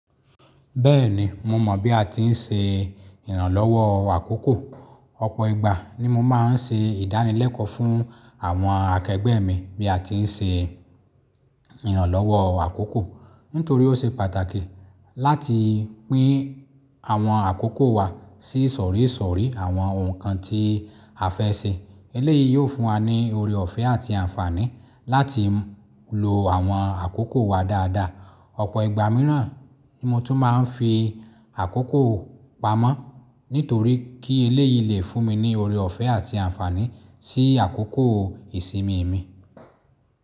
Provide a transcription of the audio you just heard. Bẹ́ẹ̀ni, mo mọ̀ bí a ti ń ṣe ìrànlọ́wọ́ àkókò. Ọ̀pọ̀ ìgbà ni mo máa ń ṣe ìdánilẹ́kọ̀ọ́ fún àwọn akẹgbẹ́ mi bí a ti ń ṣe ìrànlọ́wọ́ àkókò. Nítorí ó ṣe pàtàkì láti pín àwọn àkókò wa sí isọ̀rí sọ̀rí àwọn oun nǹkan tí a fẹ́ ṣe. Eléyìí yóò fún wa ní ọrẹ ọ̀fẹ́ àti àǹfààní láti lo àwọn àkókò wa dáadáa. Ọ̀pọ̀ ìgbà mìíràn ni mo tún máa ń fi àkókò pamọ́, nítorí kí eléyìí lè fún mi ní ọrẹ ọ̀fẹ́ àti àǹfààní sí àkókò ìsinmi mi.